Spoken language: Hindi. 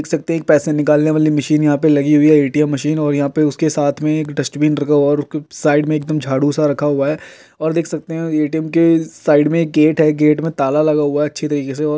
देख सकते है एक पैसे निकालने वाली मशीन यहां पे लगी हुई है। एटीएम मशीन और यहां पे उसके साथ में एक डस्टबिन रखा हुआ है और साइड मे एकदम झाड़ू सा रखा हुआ है और देख सकते है एटीएम के साइड मे एक गेट है गेट मे ताला लगा हुआ है। अच्छे तरीके से और --